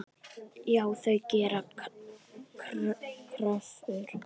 Já, þau gera kröfur.